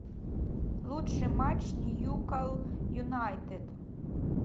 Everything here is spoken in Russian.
лучший матч ньюкасл юнайтед